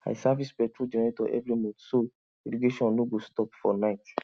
i service petrol generator every month so irrigation no go stop for night